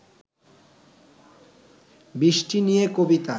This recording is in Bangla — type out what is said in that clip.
বৃষ্টি নিয়ে কবিতা